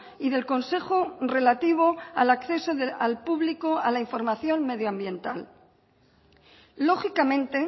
y del consejo relativo al acceso al público a la información medioambiental lógicamente